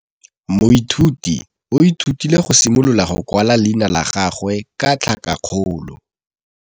Moithuti o ithutile go simolola go kwala leina la gagwe ka tlhakakgolo.